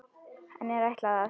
Henni er ætlað að